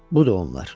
Budu onlar.